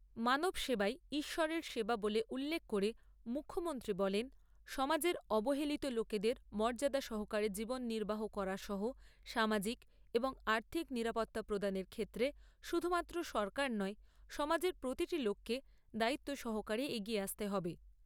সেবাই ঈশ্বরের সেবা বলে উল্লেখ করে মুখামন্ত্রী বলেন সমাজের অবহেলিত লোকেদের মর্যাদা সহকারে জীবন নির্বাহ করা সহ সামাজিক এবং আর্থিক নিরাপত্তা প্রদানের ক্ষেত্রে শুধুমাত্র সরকার নয় সমাজের প্রতিটি লোককে দায়িত্ব সহকারে এগিয়ে আসতে হবে।